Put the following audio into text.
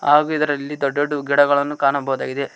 ಹಾಗು ಇದರಲ್ಲಿ ದೊಡ್ಡ ದೊಡ್ದು ಗಿಡಗಳನ್ನು ಕಾಣಬಹುದಾಗಿದೆ